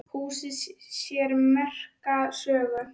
Húsið á sér merka sögu.